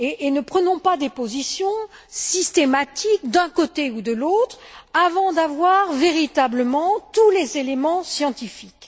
Ne prenons pas des positions systématiques d'un côté ou de l'autre avant de disposer véritablement de tous les éléments scientifiques.